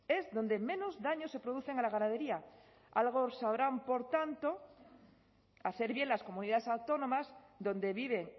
es donde menos daños se producen a la ganadería algo sabrán por tanto hacer bien las comunidades autónomas donde vive